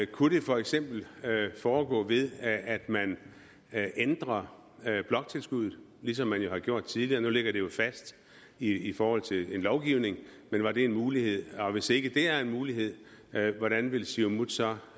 kunne det for eksempel foregå ved at man ændrer bloktilskuddet ligesom man har gjort tidligere nu ligger det jo fast i forhold til en lovgivning men var det en mulighed og hvis ikke det er en mulighed hvordan vil siumut så